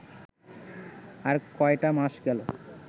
আর কয়টা মাস গেলে